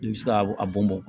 I bɛ se ka a bɔn bɔn